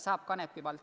Saab ka Kanepi vald.